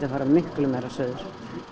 fara miklu meira suður